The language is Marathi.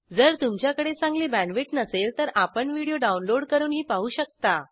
जर तुमच्याकडे चांगली बॅण्डविड्थ नसेल तर आपण व्हिडिओ डाउनलोड करूनही पाहू शकता